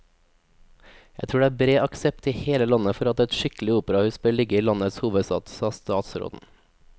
Jeg tror det er bred aksept i hele landet for at et skikkelig operahus bør ligge i landets hovedstad, sa statsråden.